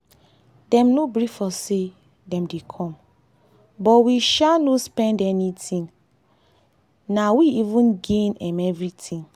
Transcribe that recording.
dem no brief us say dem dey come but we no sha spend anything na we even gain um everything.